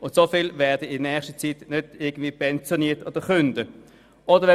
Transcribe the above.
So viele Leute werden in nächster Zeit nicht pensioniert oder kündigen.